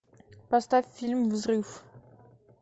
поставь фильм взрыв